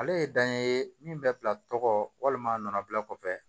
Ale ye dan ye min bɛ bila tɔgɔ walima a nana bila kɔfɛ